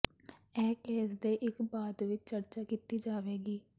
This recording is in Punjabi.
ਇਹ ਕੇਸ ਦੇ ਇਕ ਬਾਅਦ ਵਿੱਚ ਚਰਚਾ ਕੀਤੀ ਜਾਵੇਗੀ